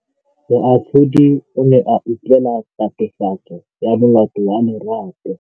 Moatlhodi o ne a utlwelela tatofatsô ya molato wa Lerato.